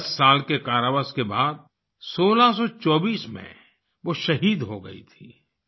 दस साल के कारावास के बाद 1624 में वो शहीद हो गई थीं